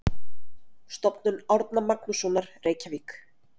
Stofnun Árna Magnússonar, Reykjavík.